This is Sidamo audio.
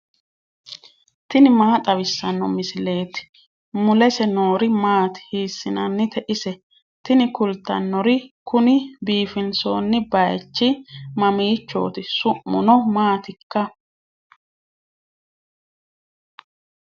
tini maa xawissanno misileeti ? mulese noori maati ? hiissinannite ise ? tini kultannori kuni biifinsoonni baychi mammiichooti su'muno maatikka